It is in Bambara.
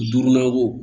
Duurunan wo